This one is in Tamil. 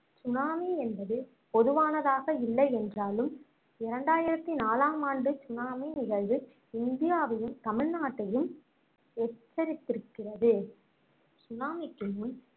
சுனாமி என்பது பொதுவானதாக இல்லை என்றாலும் இரண்டாயிரத்தி நாலாம் ஆண்டு சுனாமி நிகழ்வு இந்தியாவையும் தமிழ்நாட்டையும் எச்சரித்திருக்கிறது சுனாமிக்கு முன்